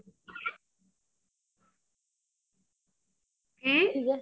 ਕੀ